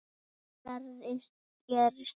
Það gerist ekki,